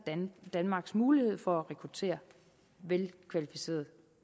danmarks mulighed for at rekruttere velkvalificeret